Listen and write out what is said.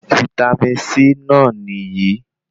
Vítámì C náà nìyí